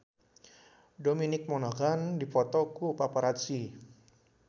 Dominic Monaghan dipoto ku paparazi